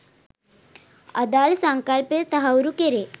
අදාළ සංකල්පය තහවුරු කෙරෙ